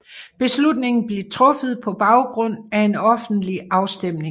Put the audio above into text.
Beslutningen blev truffet på baggrund af en offentlig afstemning